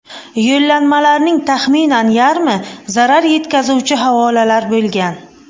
Yo‘llanmalarning taxminan yarmi zarar yetkazuvchi havolalar bo‘lgan.